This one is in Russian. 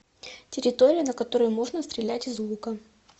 территория на которой можно стрелять из лука